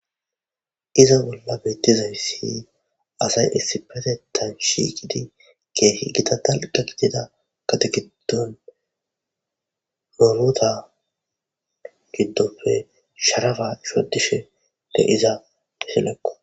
iza bolla beettizay si asay issipatetan shikidi keehi gida dalqa gidida gate giddon rorota giddofe sharafa shodishe de iza dishelekko